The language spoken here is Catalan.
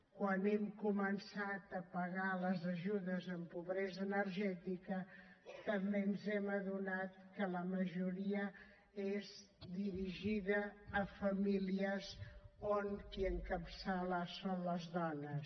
quan hem començat a pagar les ajudes en pobresa energètica també ens hem adonat que la majoria són dirigides a famílies on qui les encapçala són dones